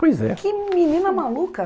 Pois é. Que menina maluca.